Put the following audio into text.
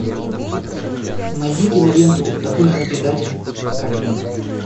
найди киноленту такой же предатель как и мы